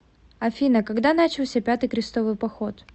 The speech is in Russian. афина когда начался пятый крестовый поход